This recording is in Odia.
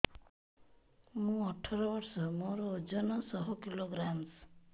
ମୁଁ ଅଠର ବର୍ଷ ମୋର ଓଜନ ଶହ କିଲୋଗ୍ରାମସ